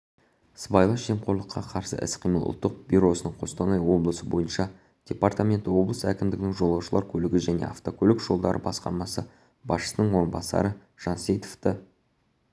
сыбайлас жемқорлыққа қарсы іс-қимыл ұлттық бюросының қостанай облысы бойынша департаменті облыс әкімдігінің жолаушылар көлігі және автокөлік жолдары басқармасы басшысының орынбасары жансейітовті